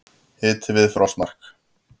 Hiti við frostmark í dag